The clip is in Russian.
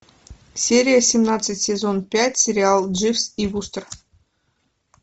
серия семнадцать сезон пять сериал дживс и вустер